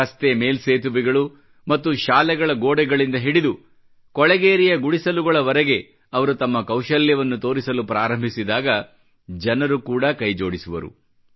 ರಸ್ತೆ ಮೇಲ್ಸೇತುವೆಗಳು ಮತ್ತು ಶಾಲೆಗಳ ಗೋಡೆಗಳಿಂದ ಹಿಡಿದು ಕೊಳೆಗೇರಿಯ ಗುಡಿಸಲುಗಳವರೆಗೆ ಅವರು ತಮ್ಮ ಕೌಶಲ್ಯವನ್ನು ತೋರಿಸಲು ಪ್ರಾರಂಭಿಸಿದಾಗ ಜನರು ಕೂಡ ಕೈ ಜೋಡಿಸುವರು